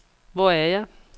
Hvor er jeg